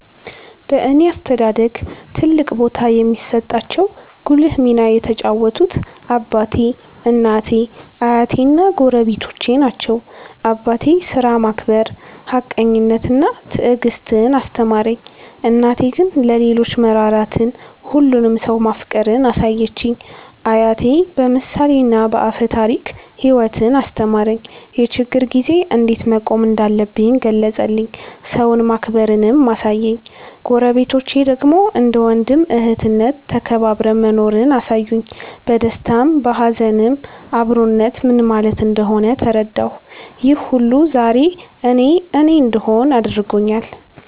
በእኔ አስተዳደግ ትልቅ ቦታ የሚሰጣቸው ጉልህ ሚና የተጫወቱት አባቴ፣ እናቴ፣ አያቴ እና ጎረቤቶቼ ናቸው። አባቴ ሥራን ማክበር፣ ሀቀኝነትን እና ትዕግስትን አስተማረኝ። እናቴ ግን ለሌሎች መራራትን፣ ሁሉንም ሰው ማፍቀርን አሳየችኝ። አያቴ በምሳሌና በአፈ ታሪክ ሕይወትን አስተማረኝ፤ የችግር ጊዜ እንዴት መቆም እንዳለብኝ ገለጸልኝ፤ ሰውን ማክበርንም አሳየኝ። ጎረቤቶቼ ደግሞ እንደ ወንድም እህትነት ተከባብረን መኖርን አሳዩኝ፤ በደስታም በሀዘንም አብሮነት ምን ማለት እንደሆነ ተረዳሁ። ይህ ሁሉ ዛሬ እኔ እኔ እንድሆን አድርጎኛል።